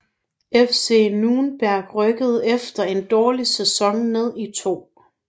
FC Nürnberg rykkede efter en dårlig sæson ned i 2